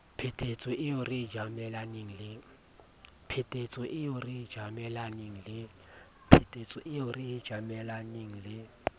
phephetso eo re tjamelaneng le